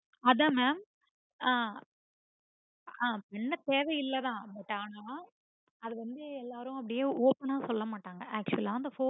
அத mam ஆஹ் ஆஹ் பண்ண தேவையில்லாத but ஆனா அது வந்து எல்லாரும் அப்புடியே open ஆ சொல்லமாட்டாங்க actual ஆ